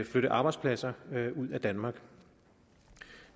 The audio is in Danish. flytte arbejdspladser ud af danmark